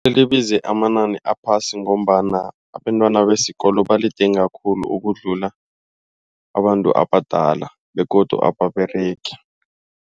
Libize amanani aphasi ngombana abentwana besikolo baligidinga khulu ukudlula abantu abadala begodu ababeregi.